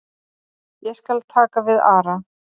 Ég skal taka við Ara.